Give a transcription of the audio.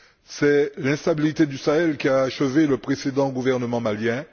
C'est l'instabilité du Sahel qui a achevé le précédent gouvernement malien.